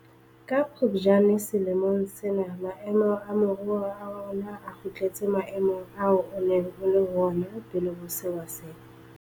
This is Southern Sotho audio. Ka Phuptjane selemong sena maemo a moruo wa rona a kgutletse maemong ao o neng o le ho ona pele ho sewa sena.